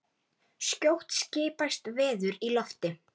Skjótt skipast veður í loft.